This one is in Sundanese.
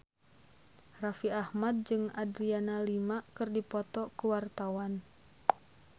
Raffi Ahmad jeung Adriana Lima keur dipoto ku wartawan